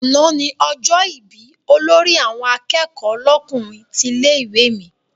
Àná ni ọjọ́ ìbí olórí àwọn akẹ́kọ̀ọ́ lọ́kùnrin tilé-ìwé mi.